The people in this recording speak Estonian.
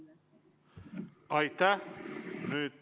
Aitäh!